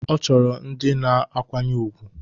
Ọ chọrọ ndị na-akwanye ùgwù